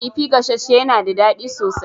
Kifi gasasshe yana da daɗi sosai.